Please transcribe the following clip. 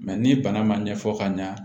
ni bana ma ɲɛfɔ ka ɲa